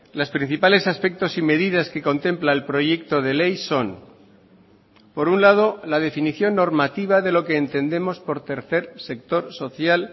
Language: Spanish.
las principales aspectos y medidas que contempla el proyecto de ley son por un lado la definición normativa de lo que entendemos por tercer sector social